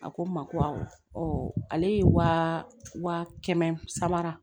A ko n ma ko awɔ ale ye wa kɛmɛ sara